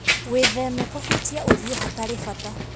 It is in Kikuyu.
Wĩtheme kũhutia ũthiũ hatarĩ bata.